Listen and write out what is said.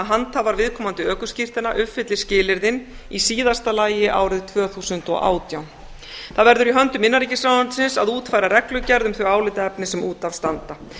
handhafar viðkomandi ökuskírteina uppfylli skilyrðin í síðasta lagi árið tvö þúsund og átján það verður í höndum innanríkisráðuneytisins að útfæra reglugerð um þau álitaefni sem út af standa